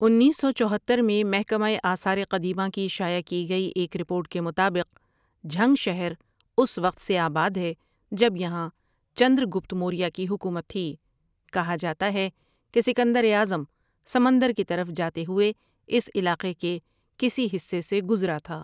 انیس سو چوہتر میں محکمۂ آثارِ قدیمہ کی شائع کی گئی ایک رپورٹ کے مطابق جھنگ شہر اس وقت سے آباد ہے جب یہاں چندر گْپت موریا کی حکومت تھی کہا جاتا ہے کہ سکندرِاعظم سمندر کی طرف جاتے ہوئے اس علاقے کے کسی حِصے سے گزرا تھا ۔